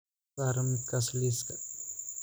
ka saar midkaas liiska